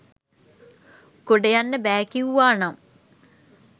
ගොඩ යන්න බෑ කිව්වා නම්